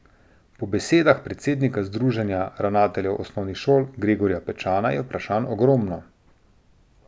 Po besedah predsednika Združenja ravnateljev osnovnih šol Gregorja Pečana, je vprašanj ogromno.